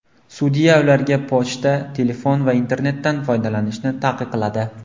Sudya ularga pochta, telefon va internetdan foydalanishni taqiqladi.